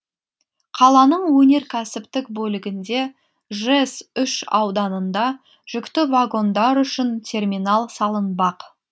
қаланың өнеркәсіптік бөлігінде жэс үш ауданында жүкті вагондар үшін терминал салынбақ